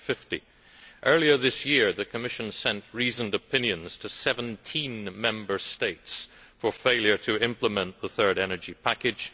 2050. Earlier this year the Commission sent reasoned opinions to 17 Member States for failure to implement the Third Energy Package.